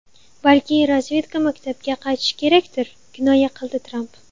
Balki razvedka maktabga qaytishi kerakdir”, kinoya qildi Tramp.